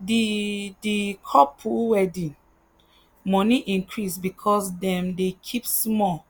the the couple wedding money increase because dem dey keep small